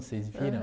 Vocês viram?